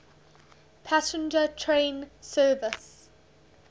passenger train service